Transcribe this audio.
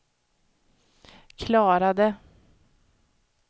klarade